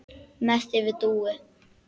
Og mest yfir Dúu.